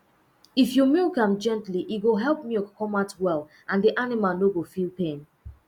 if you milk am gently e go help milk come out well and the animal no go feel pain